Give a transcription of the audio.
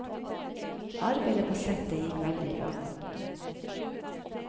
Arbeidet på settet gikk veldig bra.